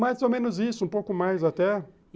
Mais ou menos isso, um pouco mais até.